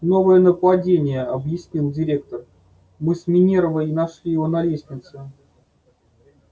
новое нападение объяснил директор мы с минервой нашли его на лестнице